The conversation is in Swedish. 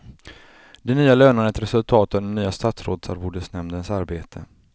De nya lönerna är ett resultat av den nya statsrådsarvodesnämndens arbete.